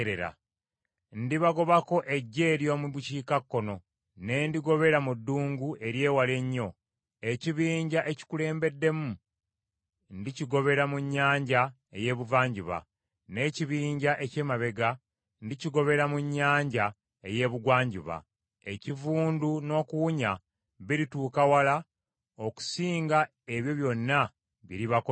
“Ndibagobako eggye ery’omu bukiikakkono ne ndigobera mu ddungu ery’ewala ennyo. Ekibinja ekikulembeddemu ndikigobera mu nnyanja ey’Ebuvanjuba, n’ekibinja eky’emabega ndikigobera mu nnyanja ey’Ebugwanjuba. Ekivundu n’okuwunya birituuka wala okusinga ebyo byonna bye libakoze.”